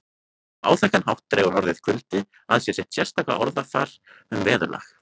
Á áþekkan hátt dregur orðið kuldi að sér sitt sérstaka orðafar um veðurlag